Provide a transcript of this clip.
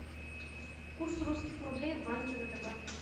курс русских рублей в банке втб